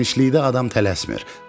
Genişlikdə adam tələsmir.